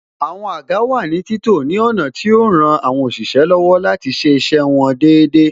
Àwọn àga wà ní títò ní ọ̀nà tí yo ran àwọn òṣìṣẹ́ láti ṣe iṣẹ́ wọn dáadáa